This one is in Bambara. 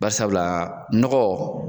Bari sabula nɔgɔ